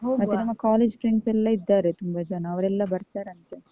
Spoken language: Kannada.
ನಮ್ಮ college friends ಎಲ್ಲಾ ಇದ್ದಾರೆ ತುಂಬ ಜನ, ಅವ್ರೆಲ್ಲ ಬರ್ತಾರಂತೆ.